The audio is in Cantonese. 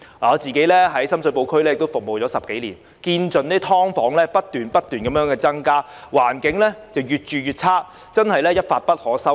我在深水埗區服務了10多年，眼見"劏房"不斷增加，環境越來越差，真是一發不可收拾。